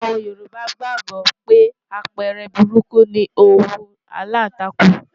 Àwọn Yorùbá gbàgbó pé àpẹẹrẹ burúkú ni òwú aláǹtakùn.